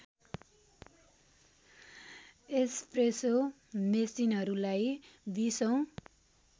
espresso मेसिनहरूलाई २० औँ